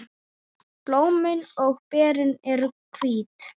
Blómin og berin eru hvít.